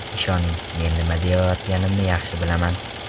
Ishoning, men nima deyayotganimni yaxshi bilaman.